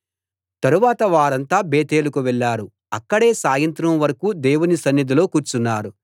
తరువాత వారంతా బేతేలుకు వెళ్ళారు అక్కడే సాయంత్రం వరకూ దేవుని సన్నిధిలో కూర్చున్నారు